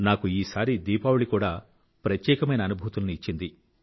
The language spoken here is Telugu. నాకు ఈసారి దీపావళి కూడా ప్రత్యేకమైన అనుభూతులని ఇచ్చింది